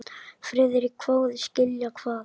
Friðrik hváði: Skilja hvað?